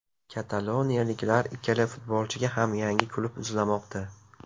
Kataloniyaliklar ikkala futbolchiga ham yangi klub izlamoqda.